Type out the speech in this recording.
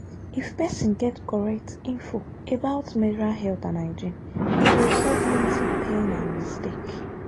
if person get correct info about menstrual health and hygiene e go stop plenty pain and mistake.